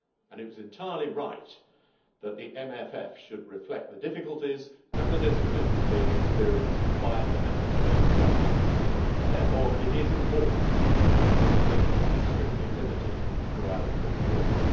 It was entirely right that the MFF should reflect the difficulties and disciplines being experienced by Member State governments, therefore it is important that funding be strictly limited throughout this period.